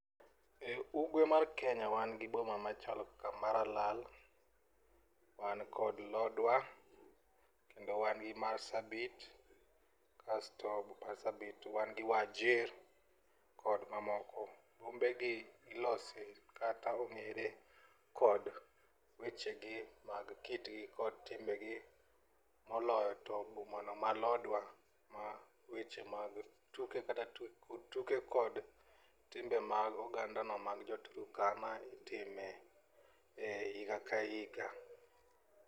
E ugwe mar Kenya wan gi boma machal kaka maralal, wan kod lodwar kendo wan gi marsabit kasto but marsabit wan gi wajir kod mamoko. Bombegi ilose kata ong'ere kod wechegi mag kitgi kod timbegi moloyo to bomano ma lodwar ma weche mag tuke kod timbe mag ogandano mag jo turkana itime higa ka higa.